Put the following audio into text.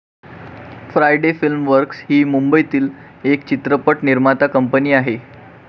Friday film works ही मुंबईतील एक चित्रपट निर्माती कंपनी आहे.